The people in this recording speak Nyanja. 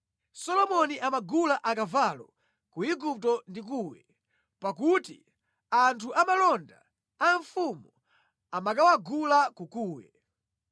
Solomoni amagula akavalo ku Igupto ndi Kuwe pakuti anthu amalonda a mfumu amakawagula ku Kuwe.